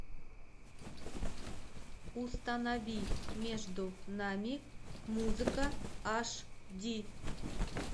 установи между нами музыка аш ди